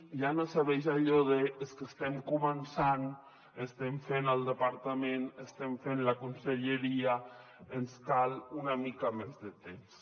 ja no serveix allò de és que estem començant estem fent el departament estem fent la conselleria ens cal una mica més de temps